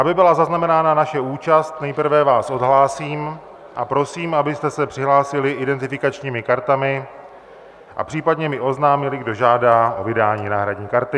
Aby byla zaznamenána naše účast, nejprve vás odhlásím a prosím, abyste se přihlásili identifikačními kartami a případně mi oznámili, kdo žádá o vydání náhradní karty.